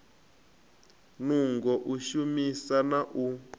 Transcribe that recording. nungo u shumesa na u